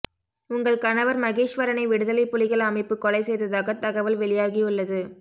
உங்கள் கணவர் மகேஸ்வரனை விடுதலை புலிகள் அமைப்பு கொலை செய்ததாக தகவல் வெளியாகியுள்ளது